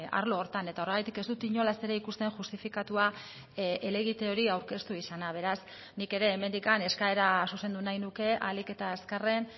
arlo horretan eta horregatik ez dut inolaz ere ikusten justifikatua helegite hori aurkeztu izana beraz nik ere hemendik eskaera zuzendu nahi nuke ahalik eta azkarren